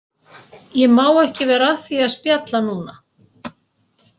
Ég má ekki vera að því að spjalla núna